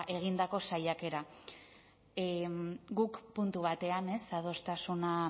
egindako saiakera guk puntu batean adostasuna